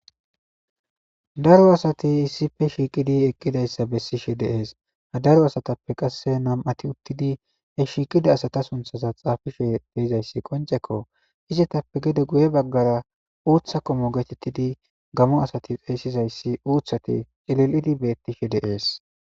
Daro asati issipe shiiqidi eqqidayssa bessishe deees ha daro asatappe qasse nam'ati uttidi he shiiqida asata sunthaza xaafishe deizayssi qonceko izetappe gede guye baggara uutha qomo geetettidi gamo asati xeyssizayssi uuthati cilil'idi bettishe deees